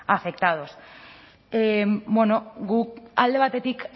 afectados bueno guk alde batetik